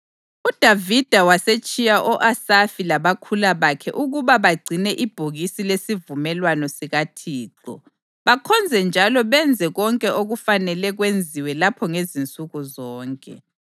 UDavida wasetshiya o-Asafi labakhula bakhe ukuba bagcine ibhokisi lesivumelwano sikaThixo, bakhonze njalo benze konke okufanele kwenziwe lapho ngezinsuku zonke.